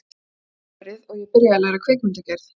Ég fór aftur í álverið og ég byrjaði að læra kvikmyndagerð.